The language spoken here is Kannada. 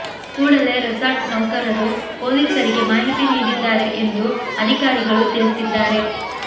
ಕೂಡಲೇ ರೆಸಾರ್ಟ್ ನೌಕರರು ಪೊಲೀಸರಿಗೆ ಮಾಹಿತಿ ನೀಡಿದ್ದಾರೆ ಎಂದು ಅಧಿಕಾರಿಗಳು ತಿಳಿಸಿದ್ದಾರೆ